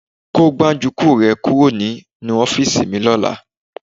Kó gbáńdukú rẹ kúrò ní ọ́fíìsì mi lọ́la.